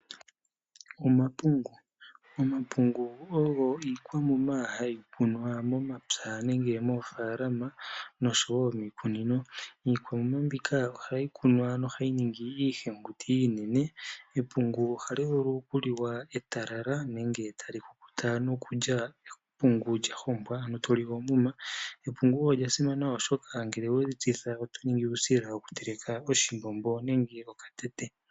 Omapungu, omapungu ogo ikwamuma hayi kunwa momapya nenge moofalama noshowo miikunino. Iikwamuma mbika ohayi kunwa nohayi ningi iihenguti inene, epungu ohali vulu oku liwa etalala nenge tali ku kuta nokulya epungu lyahongwa ano toli omuma. Epungo olya simana oshoka ngele oweli tsitha oto ningi uusila woku teleka oshimbombo nenge okatete.